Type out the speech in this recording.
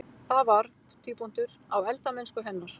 Það var: á eldamennsku hennar.